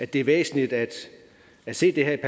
det er væsentligt at se det her i